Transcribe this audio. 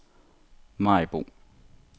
Maribo